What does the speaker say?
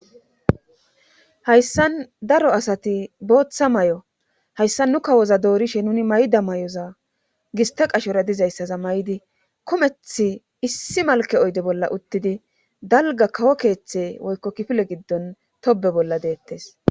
hayssan daro asati booththa may7o hayssa nu kawoza doorishe nuni mayda may7oza gista qashora dizayssaza may7di komethi issi malke oyde bolla uttidi dalga kawo keeththe woykko kifile giddon tobe bolla deettes.